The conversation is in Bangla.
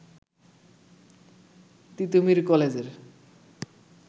তিতুমীর কলেজের